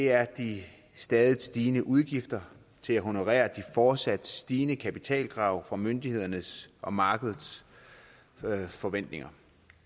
er de stadig stigende udgifter til at honorere de fortsat stigende kapitalkrav fra myndighederne og markedets forventninger